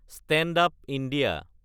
stand up India